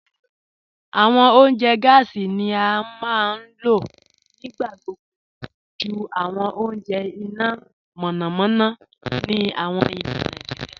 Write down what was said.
Awọn ọ̀unjẹ́ gásí ni a maa n lọ̀ nígbàgbogbo jù awọn ọ̀unjẹ́ iná mọ̀nàmọ̀nà ni awọn ilẹ̀ Naijíríà